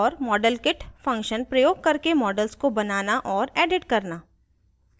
modelkit function प्रयोग करके models को बनाना और edit करना